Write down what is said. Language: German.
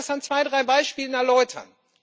Ich will das an zwei, drei Beispielen erläutern.